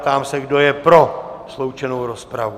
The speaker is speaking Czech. Ptám se, kdo je pro sloučenou rozpravu?